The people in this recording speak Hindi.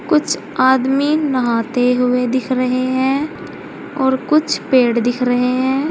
कुछ आदमी नहाते हुए दिख रहे हैं और कुछ पेड़ दिख रहे हैं।